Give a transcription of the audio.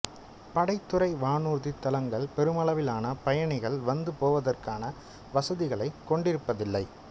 படைத்துறை வானூர்தித் தளங்கள் பெருமளைவிலான பயணிகள் வந்து போவதற்கான வசதிகளைக் கொண்டிருப்பதில்லை